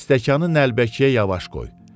Stəkanı nəlbəkiyə yavaş qoy.